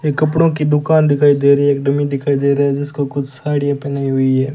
ये कपड़ों की दुकान दिखाई दे रही एक डमी दिखाई दे रहा है जिसको कुछ साड़ियां पहनाई हुई है।